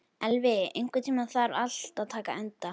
Elvi, einhvern tímann þarf allt að taka enda.